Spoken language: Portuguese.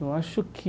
Eu acho que...